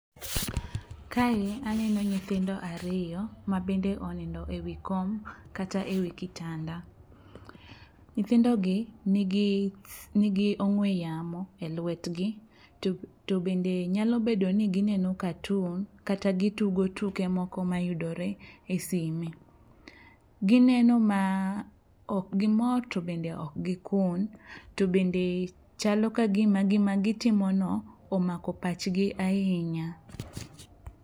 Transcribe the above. Kae aneno nyithindo ariyo mabende onindo e wi kom kata e wi kitanda. Nyithindogi nigi ong'we yamo e lwetgi to bende nyalo bedo ni gineno katun kata gitugo tuke moko mayudore e sime. Gineno ma okgimor to bende okgikun to bende chalo kagima gitimono omako pachgi ahinya.